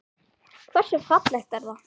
Hversu fallegt er það?